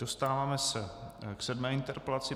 Dostáváme se k sedmé interpelaci.